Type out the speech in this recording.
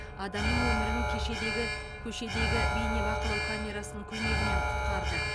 адамның өмірін кешедегі көшедегі бейнебақылау камерасының көмегімен құтқарды